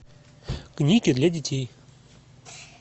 книги для детей